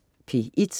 P1: